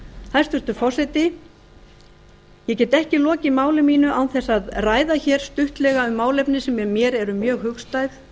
hæstvirtur forseti ég get ekki lokið máli mínu án þess að ræða hér stuttlega um málefni sem mér eru mjög hugstæð